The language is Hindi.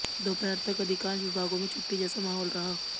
दोपहर तक अधिकांश विभागों में छुट्टी जैसा माहौल रहा